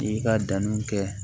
I ka danniw kɛ